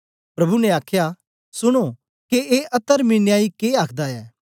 प्रभु ने आखया सुनो के ए अतरमी न्यायी के आखदा ऐ